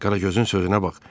Qaragözün sözünə bax: